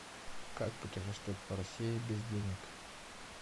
как путешествовать по россии без денег